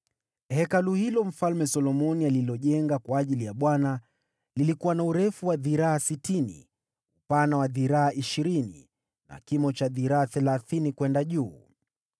Hekalu hilo Mfalme Solomoni alilojenga kwa ajili ya Bwana lilikuwa na urefu wa dhiraa sitini, upana wa dhiraa ishirini na kimo cha dhiraa thelathini kwenda juu.